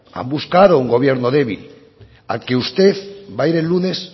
han buscado un gobierno débil al que usted va a ir el lunes